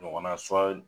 Ɲɔgɔnna